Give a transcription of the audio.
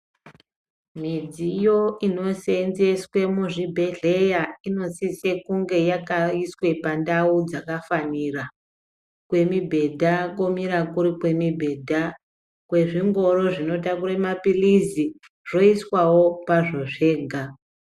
Midziyo inosenzeswe muzvibhedhleya inosise kunge yakaiswe pandawu dzakafanira jwemibhedha komire kuri kwemibhedha kwezvingoro zvinotakure mapilitsi zvoiswawo pazvo zvega.